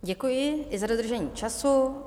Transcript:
Děkuji i za dodržení času.